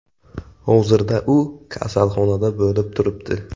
Hozirda u kasalxonada bo‘lib turibdi.